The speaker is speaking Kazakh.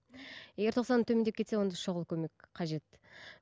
егер тоқсаннан төмендеп кетсе онда шұғыл көмек қажет